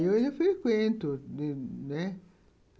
Ah, hoje eu frequento, né?